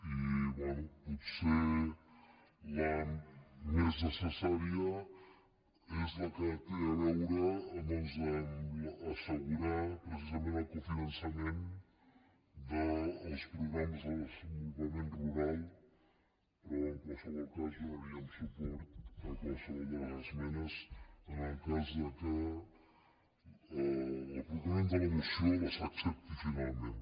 i bé potser la més necessària és la que té a veure doncs amb el fet d’assegurar precisament el cofinançament dels programes de desenvolupament rural però en qualsevol cas donaríem suport a qual·sevol de les esmenes en el cas que el proponent de la moció les accepti finalment